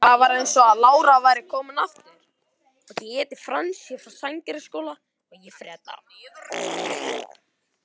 Þá var eins og lára væri komin aftur.